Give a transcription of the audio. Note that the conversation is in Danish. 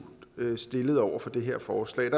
stillet over for det her forslag